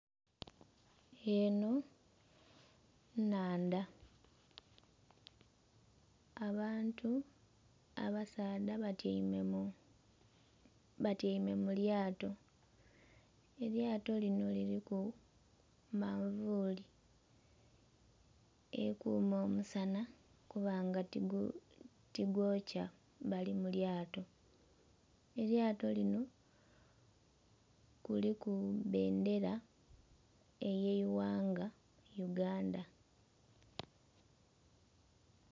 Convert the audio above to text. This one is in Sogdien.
Enho inhandha abantu abasaadha batyaime mu lyaato, elyaato linho liriku manvuli ekuuma omusana okuba nga tigwokya bali mu lyaato, elyaato linho kuriku bbendera eye yighanga Uganda.